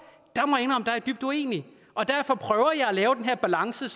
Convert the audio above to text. der er dybt uenig og derfor prøver jeg at lave den her balance